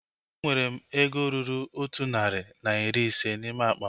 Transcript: Enwere m ego ruru otụ narị na iri ise n'ime akpa m